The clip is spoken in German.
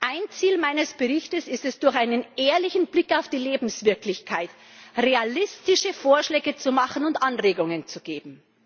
Ein Ziel meines Berichts ist es, durch einen ehrlichen Blick auf die Lebenswirklichkeit realistische Vorschläge zu machen und Anregungen zu geben.